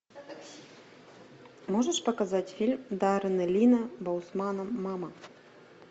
можешь показать фильм даррена линна боусмана мама